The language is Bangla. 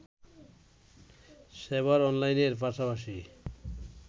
সেবার অনলাইনের পাশাপাশি